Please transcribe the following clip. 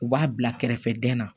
U b'a bila kɛrɛfɛ dɛn na